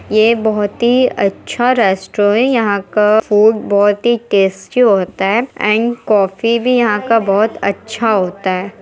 ये बहुत ही अच्छा रेस्टोरेंट है यहाँ का फ़ूड बहोत ही टेस्टी होता है एंड कॉफ़ी भी यहाँ का बहोत अच्छा होता है।